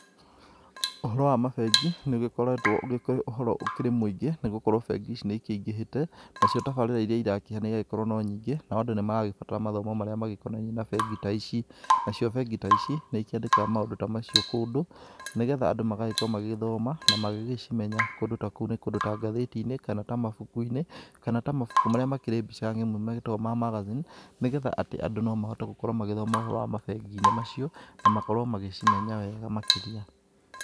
Ũhoro wa mabengi nĩ ũgĩkoretwo ũkĩrĩ ũhoro ũkĩrĩ mũingĩ nĩ gũgĩkorwo bengi ici nĩ cingĩhĩte. Nacio tafarĩra iria irakĩheana igagĩkorwo no nyingĩ nao andũ nĩ maragĩthoma mathomo marĩa magĩkonainie na bengi ta ici. Nacio bengi ta ici nĩ ikĩandĩkaga maũndũ ta maciũ kũndũ na nĩ getha andũ magagĩkorwo magĩgĩthoma na magĩgĩcimenya. Kũndũ ta kũu nĩ kũndũ ta ngathiti-inĩ kana ta mabuku-inĩ kana ta mabuku marĩa makĩrĩ mbica ng'emu magĩtagwo ma magathini. Nĩ getha atĩ andũ no mahote gũkorwo magĩthoma ũhoro wa mabengi-inĩ macio na makorwo magĩcimenya wega makĩria.